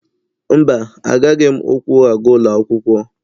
Mba, agaghị m ụkwụ aga ụlọ akwụkwọ.